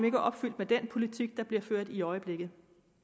ikke er opfyldt med den politik der bliver ført i øjeblikket